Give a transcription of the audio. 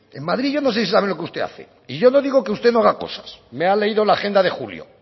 en madrid yo no sé si sabe lo que usted hace y yo no digo que usted no haga cosas me ha leído la agenda de julio